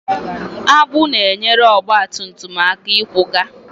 Agbụ na-enyere ọgba tum tum aka ịkwaga.